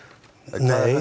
nei